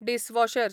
dishwasher